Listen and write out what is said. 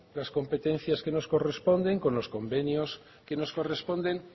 las competencias que nos corresponden con los convenios que nos corresponden